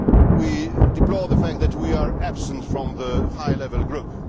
We deplore the fact that we are absent from the High Level Group.